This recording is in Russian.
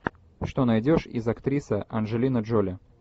что найдешь из актриса анджелина джоли